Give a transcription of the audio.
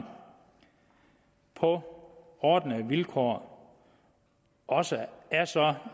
på ordnede vilkår også er så